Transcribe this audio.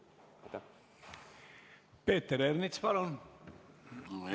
Peeter Ernits, palun!